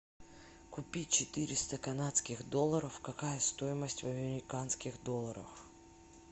купить четыреста канадских долларов какая стоимость в американских долларах